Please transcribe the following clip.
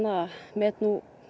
met